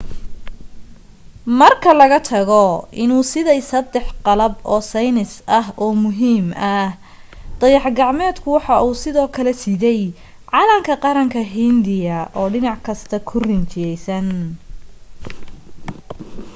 marka laga tago inuu siday saddex qalab oo saynis oo muhiim ah dayax gacmeedku waxa uu sidoo kale siday calanka qaranka hindiya oo dhinac kasta ku rinjisan